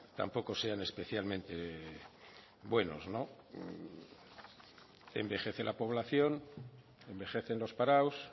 tampoco sean especialmente buenos envejece la población envejecen los parados